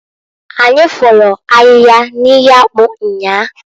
Anyi folu ahịhịa n'ihe akpụ nnyaa.